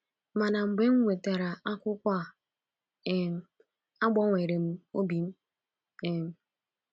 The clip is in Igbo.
Mana mgbe m nwetara akwụkwọ um a um, agbanwere m obi m um.